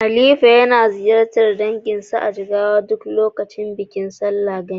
Halifa yana ziyartar danginsa a Jigawa duk lokacin bikin sallar Gani.